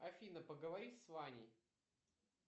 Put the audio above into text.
афина поговори с ваней